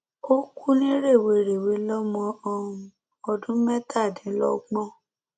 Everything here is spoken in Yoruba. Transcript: ó kú ní rèwerèwe lọmọ um ọdún mẹtàdínlọgbọn